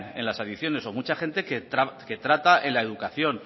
en las adicciones o mucha gente que trata en la educación